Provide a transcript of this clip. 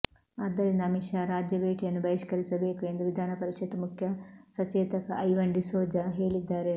ಆದ್ದರಿಂದ ಅಮಿತ್ ಶಾ ರಾಜ್ಯ ಭೇಟಿಯನ್ನು ಬಹಿಷ್ಕರಿಸಬೇಕು ಎಂದು ವಿಧಾನ ಪರಿಷತ್ ಮುಖ್ಯ ಸಚೇತಕ ಐವನ್ ಡಿಸೋಜಾ ಹೇಳಿದ್ದಾರೆ